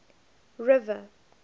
river